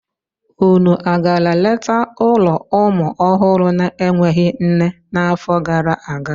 Unu a gara leta ụlọ ụmụ ọhụrụ na-enweghị nne n'afọ gara aga?